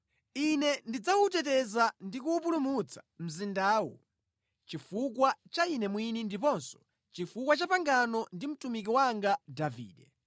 “Ine ndidzawuteteza ndi kuwupulumutsa mzindawu, chifukwa cha Ine mwini ndiponso chifukwa cha pangano ndi mtumiki wanga Davide!”